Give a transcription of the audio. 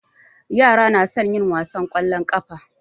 Yara na son yin wasan ƙwallon ƙafa.